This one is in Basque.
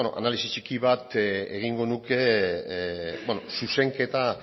analisi txiki bat egingo nuke zuzenketa